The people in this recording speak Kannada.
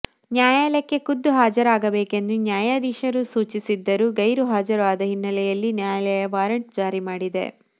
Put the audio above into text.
ನ್ಯಾಯಾಲಯಕ್ಕೆ ಖುದ್ದು ಹಾಜರಾಗಬೇಕೆಂದು ನ್ಯಾಯಧೀಶರು ಸೂಚಿಸಿದ್ದರೂ ಗೈರು ಹಾಜರು ಆದ ಹಿನ್ನೆಲೆಯಲ್ಲಿ ನ್ಯಾಯಾಲಯ ವಾರೆಂಟ್ ಜಾರಿ ಮಾಡಿದೆ